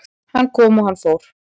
Hann kom og hann fór